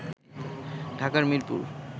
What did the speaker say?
Dhaka Mirpur